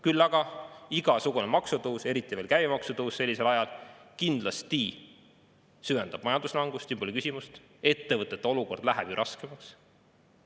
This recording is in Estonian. Küll aga igasugune maksutõus, eriti veel käibemaksu tõus sellisel ajal kindlasti süvendab majanduslangust, siin pole küsimustki, ettevõtete olukord läheb ju raskemaks.